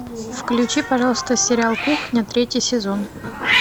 включи пожалуйста сериал кухня третий сезон